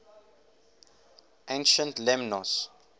ancient lemnos